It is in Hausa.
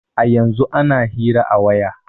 A yanzun ana iya hira a waya